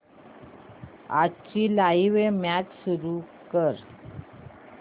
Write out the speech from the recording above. आजची live match सुरू कर